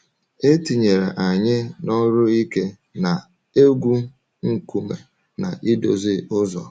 E tinyere anyị n’ọrụ ike, na-egwu nkume na idozi ụzọ.